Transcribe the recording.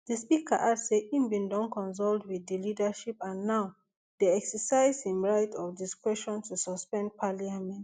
di speaker add say e bin don consult wit di leadership and now dey exercise im right of discretion to suspend parliament